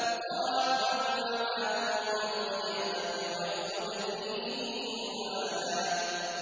يُضَاعَفْ لَهُ الْعَذَابُ يَوْمَ الْقِيَامَةِ وَيَخْلُدْ فِيهِ مُهَانًا